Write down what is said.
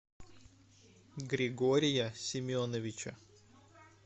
григория семеновича